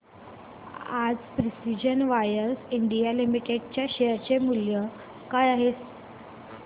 आज precision wires India limited च्या share चे मूल्य काय आहे